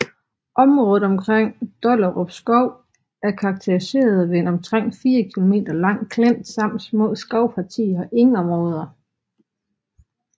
Området omkring Dollerupskov er karakteriseret ved en omtrent 4 km lang klint samt små skovpartier og engområder